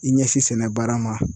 I ɲɛsin sɛnɛ baara ma.